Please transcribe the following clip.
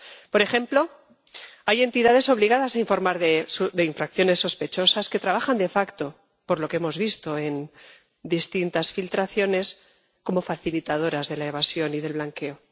Por ejemplo, hay entidades obligadas a informar de infracciones sospechosas que trabajan de facto por lo que hemos visto en distintas filtraciones, como facilitadoras de la evasión y del blanqueo.